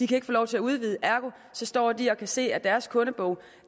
kan få lov til at udvide ergo står de og kan se at deres kundebog